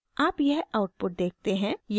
आप यह आउटपुट देखते हैं